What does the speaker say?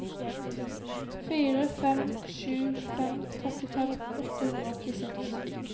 fire fem sju fem trettifem åtte hundre og åttiseks